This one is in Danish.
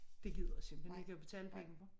Det gider jeg simpelthen ikke at betale penge for